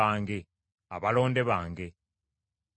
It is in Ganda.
abantu be nnekolera balangirire ettendo lyange.